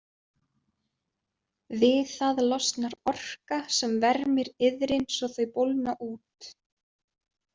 Við það losnar orka sem vermir iðrin svo þau bólgna út.